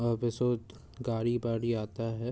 और गाड़ी-बाड़ी आता है।